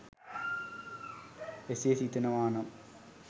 එසේ සිතනවා නම්